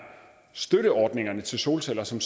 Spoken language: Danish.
støtteordningerne til solceller som